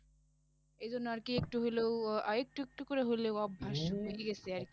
এই জন্য আরকি একটু হইলেও আহ একটু একটু করে হলেও অভ্যাস হয়ে গেছে আর